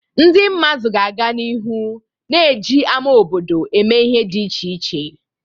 Ndị mmadụ ga-aga n'ihu na-eji ama obodo eme ihe dị iche iche.